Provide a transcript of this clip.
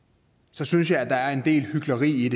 så synes jeg at der er en del hykleri